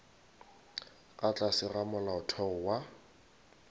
ka tlase ga molaotheo wa